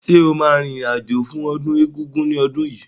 Sọ ma rìn rìn àjò fún ọdún Egúngún ní ọdún yìí?